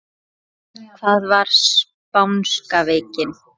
Hvað var spánska veikin?